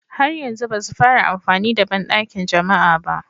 Har yanzu ba su fara amfani da bandakin jama'a ba